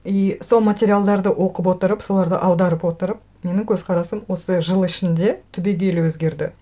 и сол материалдарды оқып отырып соларды аударып отырып менің көзқарасым осы жыл ішінде түбегейлі өзгерді